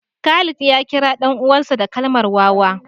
Khalid ya kira ɗan uwansa da kalmar wawa